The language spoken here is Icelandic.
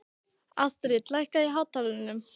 Astrid, lækkaðu í hátalaranum.